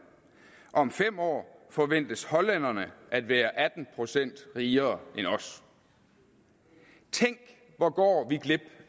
om fem år forventes hollænderne at være atten procent rigere end os tænk hvor går vi glip